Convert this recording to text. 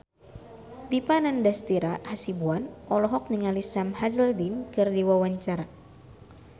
Dipa Nandastyra Hasibuan olohok ningali Sam Hazeldine keur diwawancara